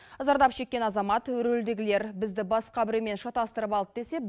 зардап шеккен азамат рөлдегілер бізді басқа біреумен шатастырып алды десе